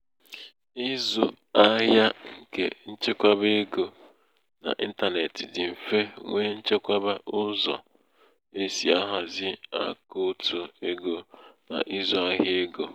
ịzụ ahịa nke nchekwa ego n'intanetị dị mfe nwee nchekwa ụzọ e si ahazi akaụtụ ego na ịzụ ahịa ego.